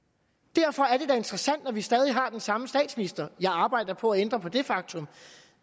derfor er det da interessant når vi stadig har den samme statsminister jeg arbejder på at ændre på det faktum